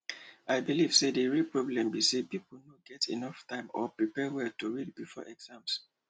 i believe say the real problem be say people no get enough time or prepare well to read before exam